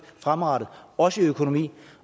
fremadrettet også i økonomien